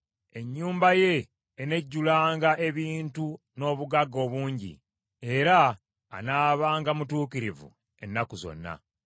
Ennyumba ye enejjulanga ebintu n’obugagga obungi; era anaabanga mutuukirivu ennaku zonna.